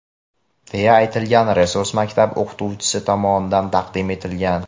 deya aytilgan resurs maktab o‘qituvchisi tomonidan taqdim etilgan.